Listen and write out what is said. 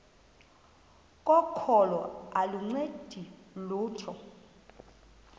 kokholo aluncedi lutho